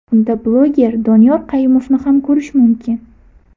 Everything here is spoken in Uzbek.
Unda bloger Doniyor Qayumovni ham ko‘rish mumkin.